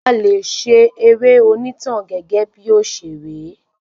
A lè ṣe eré onitan gẹgẹ bí òṣèré